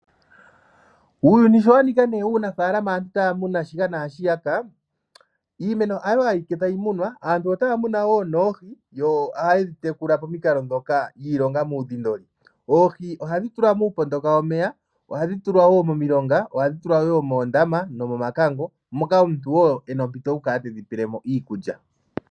Uuyuni sho wanika ne uunafalama aantu taya muna shika naashiyaka iimeno hayo ayike tayi munwa aantu otaya muno woo noohi yo ohaye dhitekula pomikalo dhoka yiilonga muudhindoli. Oohi ohadhi tulwa muupondoka womeya, ohadhi tulwa woo momilonga, ohadhi tulwa woo moondama nomomakango moka omuntu wo ena ompito hokukala tedhi pelemo okulya.